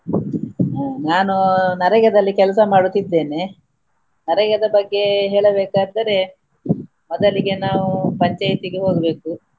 ನಾನು ನರೇಗಾದಲ್ಲಿ ಕೆಲಸ ಮಾಡುತ್ತಿದ್ದೇನೆ0 ನರೇಗದ ಬಗ್ಗೆ ಹೇಳಬೇಕಾದರೆ ಮೊದಲಿಗೆ ನಾವು ಪಂಚಾಯತಿಗೆ ಹೋಗ್ಬೆಕು.